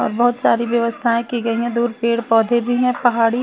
बहुत सारी व्यवस्थाएं की गई हैं दूर पेड़ पौधे भी हैं पहाड़ी --